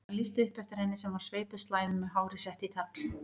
Það lýsti upp eftir henni sem var sveipuð slæðum með hárið sett í tagl.